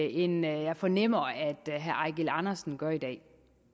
end jeg fornemmer at herre eigil andersen gør i dag